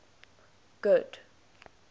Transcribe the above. good